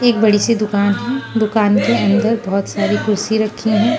एक बड़ी सी दुकान दुकान के अंदर बहुत सारी कुर्सी रखी हैं।